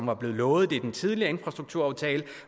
var blevet lovet det i den tidligere infrastrukturaftale